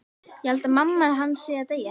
Ég held að mamma hans sé að deyja.